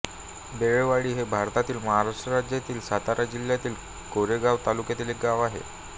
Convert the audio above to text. बेळेवाडी हे भारतातील महाराष्ट्र राज्यातील सातारा जिल्ह्यातील कोरेगाव तालुक्यातील एक गाव आहे